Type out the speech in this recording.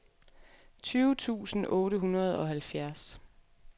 tyve tusind otte hundrede og halvfjerds